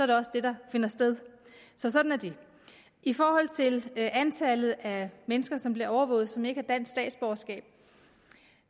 det også det der finder sted så sådan er det i forhold til antallet af mennesker som bliver overvåget og som ikke har dansk statsborgerskab